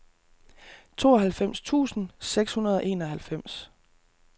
tooghalvfems tusind seks hundrede og enoghalvfems